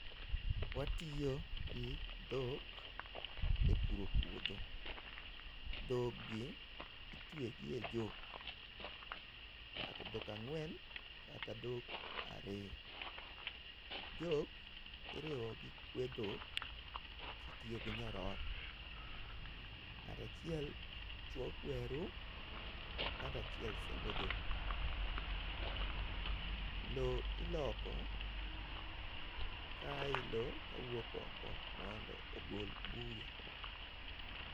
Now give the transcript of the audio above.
watiyo gi dhok e puro puodho, dhogi itwe gi e jok kata dhok angwen kata dhok ariyo ,jok iriwo gi kwe dhok kitiyo gi nyororo, ng'ato achiel chue kweru ngato achuiel sembo dhok ,lo iloko ka ae ilo kawuok oko mondo ogol buya.